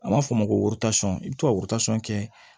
An b'a fɔ o ma ko i bɛ to ka kɛ